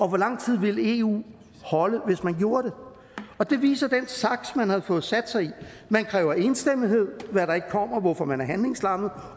hvor lang tid ville eu holde hvis man gjorde det og det viser den saks man har fået sat sig i man kræver enstemmighed hvad der ikke kommer hvorfor man er handlingslammet